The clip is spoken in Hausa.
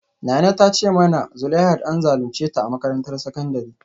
Nana ta ce mana zuleihat an zalunce ta a makarantar sakandare